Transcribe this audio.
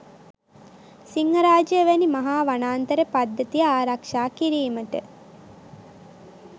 සිංහරාජය වැනි මහා වනාන්තර පද්ධතිය ආරක්ෂා කිරීමට